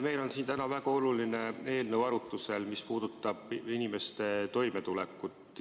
Meil on siin täna arutusel väga oluline eelnõu, mis puudutab inimeste toimetulekut.